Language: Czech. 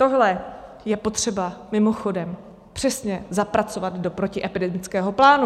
Tohle je potřeba mimochodem přesně zapracovat do protiepidemického plánu.